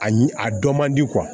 A ɲ a dɔn man di